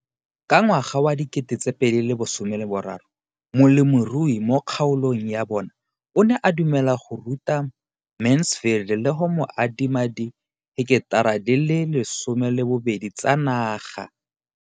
Ka ngwaga wa 2013, molemirui mo kgaolong ya bona o ne a dumela go ruta Mansfield le go mo adima di heketara di le 12 tsa naga.